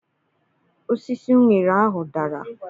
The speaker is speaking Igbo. Osisi uṅere ahụ dara.